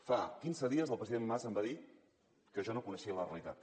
fa quinze dies el president mas em va dir que jo no coneixia la realitat